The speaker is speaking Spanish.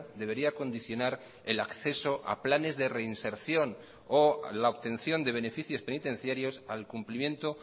debería condicionar el acceso a planes de reinserción o la obtención de beneficios penitenciarios al cumplimiento